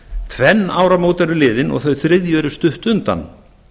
tvenn áramót eru liðin og þau þriðju eru stutt undan